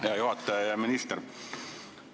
Hea juhataja!